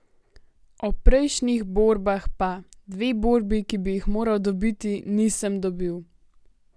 O prejšnjih borbah pa: "Dve borbi, ki bi jih moral dobiti, nisem dobil.